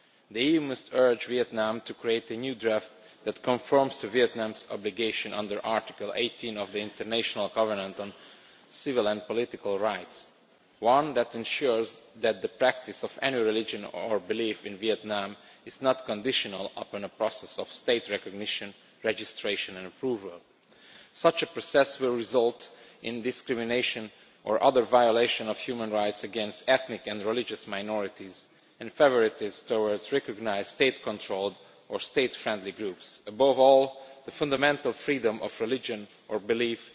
The EU must urge Vietnam to come up with a new draft that conforms to Vietnam's obligations under Article 18 of the International Covenant on Civil and Political Rights, one that ensures that the practice of any religion or belief in Vietnam is not conditional upon a process of state recognition, registration and approval. Such a process would result in discrimination or other violations of the human rights of ethnic and religious minorities, and in favouritism towards recognised, state controlled or state friendly groups. Above all, the fundamental freedom of religion or belief